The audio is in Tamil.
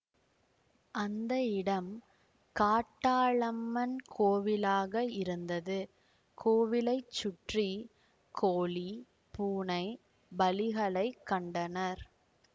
அந்த இடம் காட்டாளம்மன் கோவிலாக இருந்தது கோவிலை சுற்றி கோழி பூனை பலிகளைக் கண்டனர்